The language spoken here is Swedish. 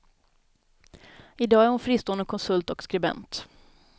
I dag är hon fristående konsult och skribent.